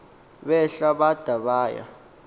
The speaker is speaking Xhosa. behla bada baya